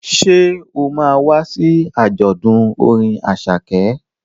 Ṣé o ma wá sí àjọ̀dún orin Àṣàkẹ́?